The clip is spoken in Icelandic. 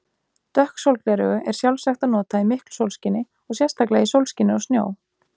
Dökk sólgleraugu er sjálfsagt að nota í miklu sólskini og sérstaklega í sólskini og snjó.